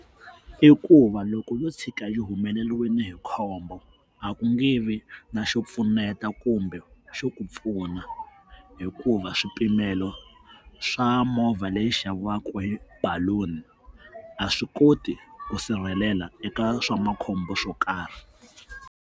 I ku va loko yo tshuka ri humelerile hi khombo a ku nge vi na xo pfuneta kumbe xo ku pfuna hikuva swipimelo swa movha leyi xaviwaka hi balloon a swi koti ku sirhelela eka swa makhombo swo karhi.